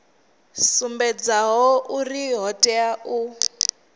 sumbedzaho uri o tea u